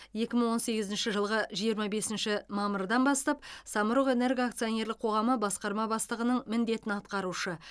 екі мың он сегізінші жылғы жиырма бесінші мамырдан бастап самұрық энерго акционерлік қоғамы басқарма бастығының міндетін атқарушы